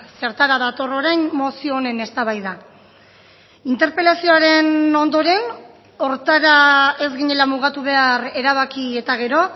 zertara dator orain mozio honen eztabaida interpelazioaren ondoren horretara ez ginela mugatu behar erabaki eta gero